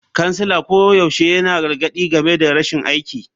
Kansila koyaushe yana gargadi game da rashin aiki.